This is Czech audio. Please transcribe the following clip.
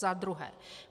Za druhé.